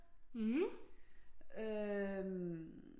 Øh